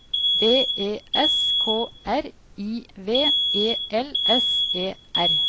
B E S K R I V E L S E R